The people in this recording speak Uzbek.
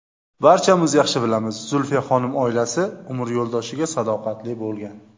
Barchamiz yaxshi bilamiz, Zulfiyaxonim oilasi, umr yo‘ldoshiga sadoqatli bo‘lgan.